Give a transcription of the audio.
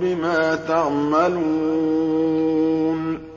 بِمَا تَعْمَلُونَ